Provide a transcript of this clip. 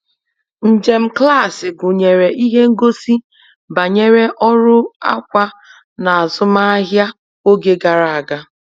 Njem klaasị gụnyere ihe ngosi banyere ọrụ akwa n'azụmahịa oge gara aga.